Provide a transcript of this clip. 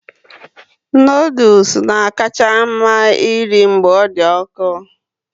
Noodles na-akacha mma eri mgbe ọ dị ọkụ